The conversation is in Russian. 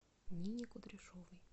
нине кудряшовой